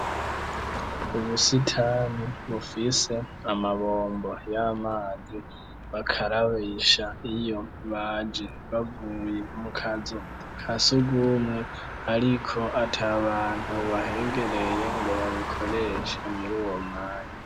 Ubusitani bufise amabombo y'amazi bakarabisha iyo baje bavuye mukazu ka sugumwe ariko at’abantu bahegereye ngo babikoreshe muri uwo mwanya.